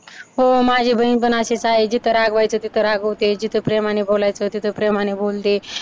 हो माझी बहीण पण अशीच आहे जिथं रागवायचं तिथं रागवते, जिथं प्रेमाने बोलायचं तिथं प्रेमाने बोलते.